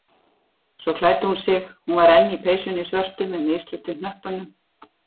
Svo klæddi hún sig- hún var enn í peysunni svörtu með mislitu hnöppunum.